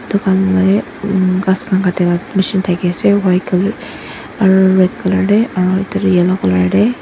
tukan la ehh umm grass kan katia laga machine taki ase white colour aro red colour teh aro ekta yellow colour teh.